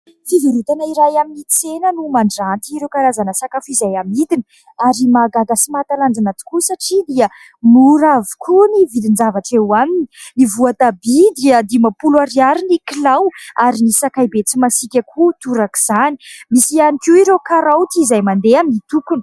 Fivarotana iray amin'ny tsena no mandranty ireo karazana sakafo izay amidiny ary mahagaga sy mahatalanjona tokoa satria dia mora avokoa ny vidin-javatra eo aminy. Ny voatabia dia dimampolo ariary ny kilao ary ny sakaibe tsy masiaka koa torak'izany. Misy ihany koa ireo karaoty izay mandeha amin'ny tokony.